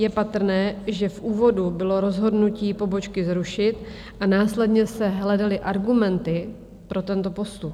Je patrné, že v úvodu bylo rozhodnutí pobočky zrušit a následně se hledaly argumenty pro tento postup.